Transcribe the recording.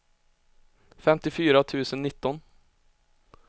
femtiofyra tusen nitton